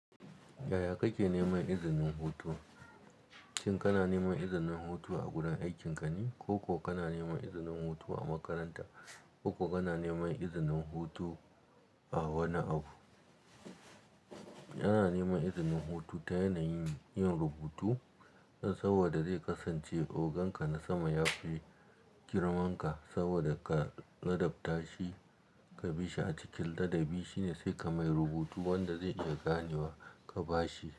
Yaya kake neman izinin hutu? Shin kana neman izinin hutu a gurin aikin ka ne? Ko kuwa kana neman izinin hutu a makaranta? Ko kuwa kana neman izinin wani abu? Ana neman izinin hutu ta yanayin yin rubutu. Saboda zai kasance ogan ka na sama ya fi girmanka saboda ka ladabtar shi ka bi shi a cikin ladabi. Shine sai ka mai rubutu wadanda zai iya ganewa ka ba shi.